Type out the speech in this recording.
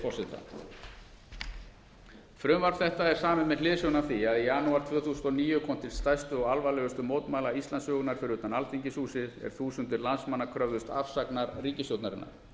forseta frumvarp þetta er samið með hliðsjón af því að í janúar tvö þúsund og níu kom til stærstu og alvarlegustu mótmæla íslandssögunnar fyrir utan alþingishúsið er þúsundir landsmanna kröfðust afsagnar ríkisstjórnarinnar